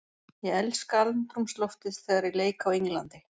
Ég elska andrúmsloftið þegar ég leik á Englandi.